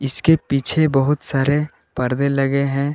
इसके पीछे बहुत सारे परदे लगे हैं।